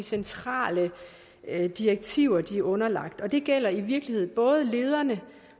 centrale direktiver de er underlagt det gælder i virkeligheden både lederne